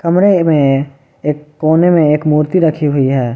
कमरे में एक कोने में एक मूर्ति रखी हुई है।